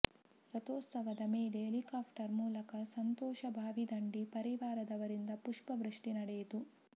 ರಥೋತ್ಸವದ ಮೇಲೆ ಹೆಲಿಕಾಪ್ಟರ್ ಮೂಲಕ ಸಂತೋಷ ಭಾವಿದಂಡಿ ಪರಿವಾರದವರಿಂದ ಪುಷ್ಪವೃಷ್ಟಿ ನಡೆಯಿತು